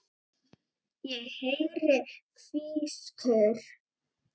Ég heyri hvískur.